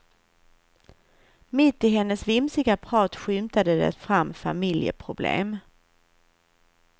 Mitt i hennes vimsiga prat skymtade det fram familjeproblem.